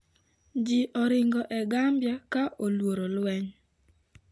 Ji oringo e Gambia ka oluoro lweny